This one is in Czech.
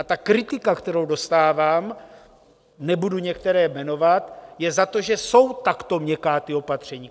A ta kritika, kterou dostávám, nebudu některé jmenovat, je za to, že jsou takto měkká ta opatření.